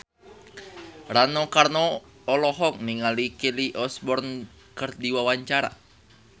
Rano Karno olohok ningali Kelly Osbourne keur diwawancara